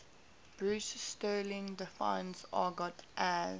bruce sterling defines argot as